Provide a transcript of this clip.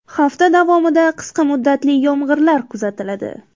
Hafta davomida qisqa muddatli yomg‘irlar kuzatiladi.